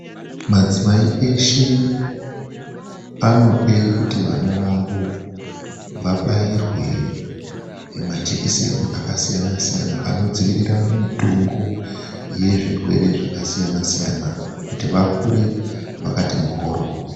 Madzimai eshe anoda kuti vana vavo vabairwe majekiseni akasiyana siyana anodzivirira mitungu yezvirwere zvakasiyana siyana kuti vakure vakati mhoryo.